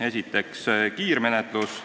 Esiteks, kiirmenetlus.